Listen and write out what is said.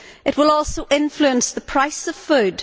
It will also influence the price of food.